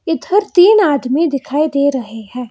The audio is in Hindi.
इधर तीन आदमी दिखाई दे रहे हैं।